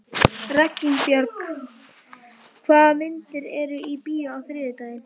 Reginbjörg, hvaða myndir eru í bíó á þriðjudaginn?